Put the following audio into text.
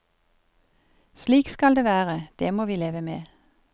Slik skal det være, det må vi leve med.